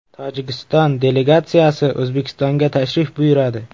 Tojikiston delegatsiyasi O‘zbekistonga tashrif buyuradi.